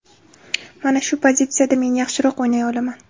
Mana shu pozitsiyada men yaxshiroq o‘ynay olaman.